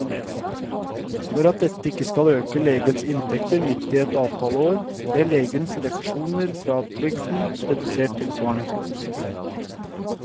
For at dette ikke skal øke legenes inntekter midt i et avtaleår, ble legenes refusjoner fra trygden redusert tilsvarende.